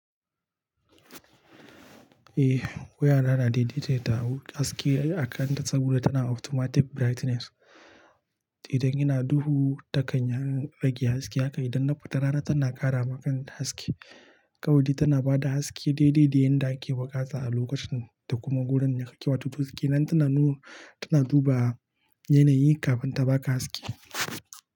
Eh waya na na daidaita haske a kan ta saboda tana automatic brightness. Idan yana duhu ta kan ya rage haske haka idan na fita rana tana ƙara ma kantahaske. Kawai dai tana ba da haske daidai da yadda ake buƙata a lokacin da kuma wurin da kake. Wato duk da ke nan tana nuna, tana duba yanayi kafin ta baka haske.